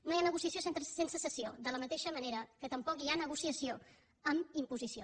no hi ha negociació sense cessió de la mateixa manera que tampoc hi ha negociació amb imposició